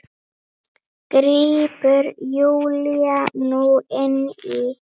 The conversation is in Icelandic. grípur Júlía nú inn í.